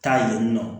Taa yen nɔ